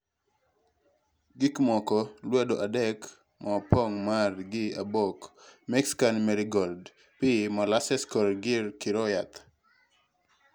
gikmoko: lwedo adek maopong' mar gi obok mexican merigold, pii, molasses kod gir kiro yath